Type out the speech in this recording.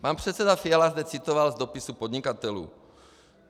Pan předseda Fiala zde citoval z dopisů podnikatelů.